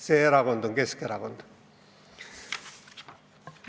See erakond on Keskerakond.